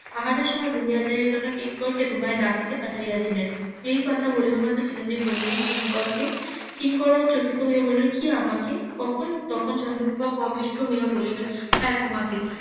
আহারের সময় বহিয়া যাই এজন্য কিংকর কে তোমায় ডাকিতে পাটিয়াছিলাম এই কথা বলিবা মাত্র চিরঞ্জিব বলিল কিংকর কে কিংকর ও চকিত হয়ে বললো কি আমাকে কখন তখন চন্দ্রপ্রভা . বলিলেন হ্যাঁ তোমাকে